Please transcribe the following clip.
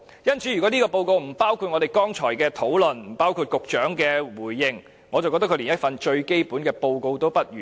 因此，如果這份報告不包括我們剛才的討論，不包括局長的回應，我認為它連最基本的報告也不如。